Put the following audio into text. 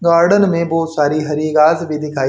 garden में बहुत सारी हरी घास भी दिखाई--